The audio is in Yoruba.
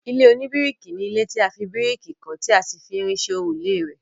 ilé oníbíríkì ni ilé tí a fi bíríkì kọ́ tí a sì fi irin ṣe òrùlé rẹ̀